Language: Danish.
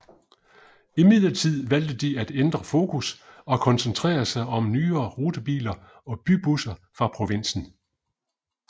Imidlertid valgte de at ændre fokus og koncentrere sig om nyere rutebiler og bybusser fra provinsen